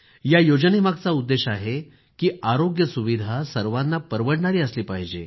या योजनेमागचा उद्देश आहे की आरोग्य सुविधा सर्वांना परवडणारी असली पाहिजे